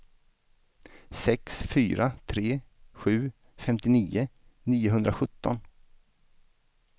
sex fyra tre sju femtionio niohundrasjutton